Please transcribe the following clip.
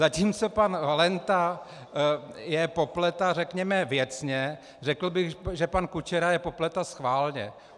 Zatímco pan Valenta je popleta, řekněme, věcně, řekl bych, že pan Kučera je popleta schválně.